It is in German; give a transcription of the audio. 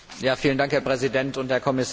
Herr Präsident und Herr Kommissar!